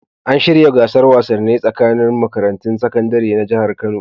An shirya gasar wasannai tsakanin makarantun sakandare na Jihar Kano.